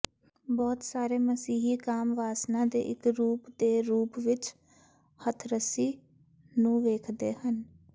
ਬਹੁਤ ਸਾਰੇ ਮਸੀਹੀ ਕਾਮ ਵਾਸਨਾ ਦੇ ਇੱਕ ਰੂਪ ਦੇ ਰੂਪ ਵਿੱਚ ਹੱਥਰਸੀ ਨੂੰ ਵੇਖਦੇ ਹਨ